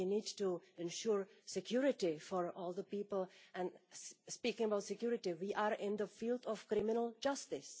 We need to ensure security for all people, and speaking about security, we are in the field of criminal justice.